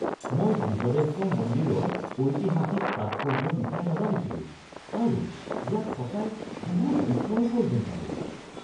মই বৃহদেশ্বৰ মন্দিৰৰ ঐতিহাসিক তাৎপৰ্য্যৰ বিষয়ে নাজানিছিলোঁ আৰু ইয়াক সঁচাই বহুত বিস্ময়কৰ যেন পালোঁ।